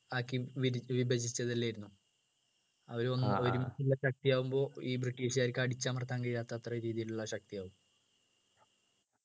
ആക്കി വിരി വിഭജിച്ചത് അല്ലായിരുന്നു അവരെ ഒരുമിച്ചുള്ള ശക്തി ആകുമ്പോ ഈ british കാർക്ക് അടിച്ചമർത്താൻ കഴിയാത്ത അത്ര രീതിയിലുള്ള ശക്തിയാകും